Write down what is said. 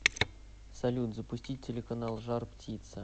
салют запустить телеканал жар птица